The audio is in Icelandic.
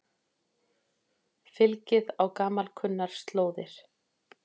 Fylgið á gamalkunnar slóðir